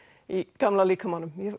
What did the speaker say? í gamla líkamanum